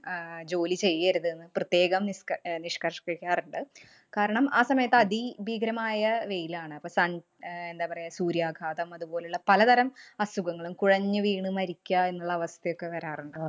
ആഹ് ജോലി ചെയ്യരുതെന്ന് പ്രത്യേകം നിഷ്ക അഹ് നിഷ്കര്‍ഷ്കിക്കാറുണ്ട്. കാരണം ആ സമയത്ത് അതിഭീകരമായ വെയിലാണ്. അപ്പൊ sun അഹ് എന്താ പറയ, സൂര്യഘാതം അതുപോലുള്ള പലതരം അസുഖങ്ങളും, കുഴഞ്ഞു വീണ് മരിക്ക എന്നുള്ള അവസ്ഥയൊക്കെ വരാറുണ്ട്.